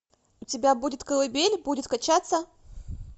у тебя будет колыбель будет качаться